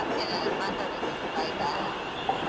ಸರಿ okay bye bye bye.